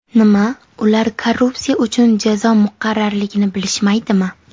Nima, ular korrupsiya uchun jazo muqarrarligini bilishmaydimi?